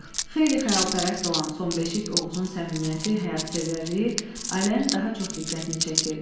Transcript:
Xeyirxəyalpərəst olan sonbeşik Oğuzun səmimiyyəti, həyatsevərliyi ailənin daha çox diqqətini çəkirdi.